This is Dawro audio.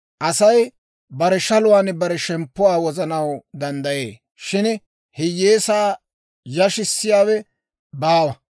Asay bare shaluwaan bare shemppuwaa wozanaw danddayee; shin hiyyeesaa yashissiyaawe baawa.